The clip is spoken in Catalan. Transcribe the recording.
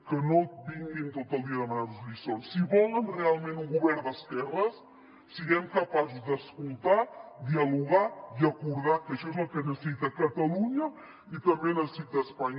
que no vinguin tot el dia a demanar nos lliçons si volen realment un govern d’esquerres siguem capaços d’escoltar dialogar i acordar que això és el que necessita catalunya i també necessita espanya